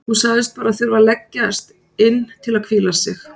Hún sagðist bara þurfa að leggjast inn til að hvíla sig.